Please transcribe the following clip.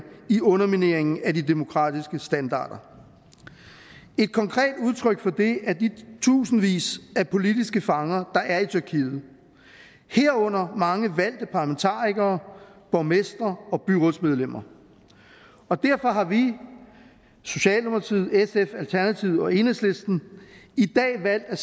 i undermineringen af de demokratiske standarder et konkret udtryk for det er de tusindvis af politiske fanger der er i tyrkiet herunder mange valgte parlamentarikere borgmestre og byrådsmedlemmer derfor har vi socialdemokratiet sf alternativet og enhedslisten i dag valgt at